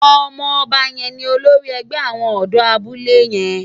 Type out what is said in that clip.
Òmò òbá yèn ni ólórì ègbè áwòn òdò àbúlé yèn